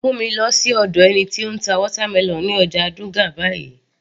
Mú mi lọ sí ọ̀dọ̀ ẹni tí ó ń ta watermelon ní ọjà Dugan báyìí